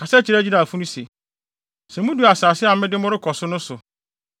“Kasa kyerɛ Israelfo no se: ‘Sɛ mudu asase a mede mo rekɔ so no so